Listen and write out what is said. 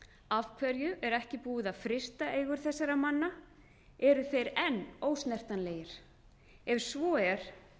af hverju er ekki búið að frysta eigur þessara mann eru þeir enn ósnertanlegir ef svo er